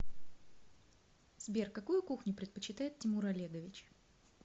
сбер какую кухню предпочитает тимур олегович